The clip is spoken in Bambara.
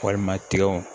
Walima tigɛw